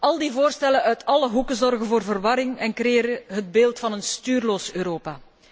Al die voorstellen uit alle hoeken zorgen voor verwarring en creëren het beeld van een stuurloos Europa.